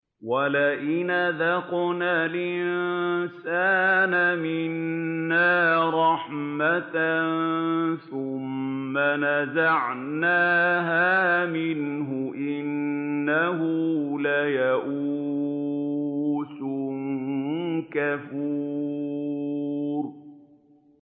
وَلَئِنْ أَذَقْنَا الْإِنسَانَ مِنَّا رَحْمَةً ثُمَّ نَزَعْنَاهَا مِنْهُ إِنَّهُ لَيَئُوسٌ كَفُورٌ